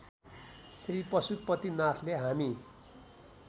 श्री पशुपतिनाथले हामी